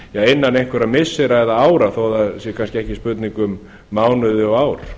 innan einhverra missira eða ára þó það sé kannski ekki spurning um mánuði og ár